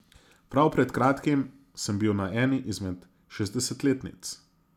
Prav pred kratkim sem bil na eni izmed šestdesetletnic.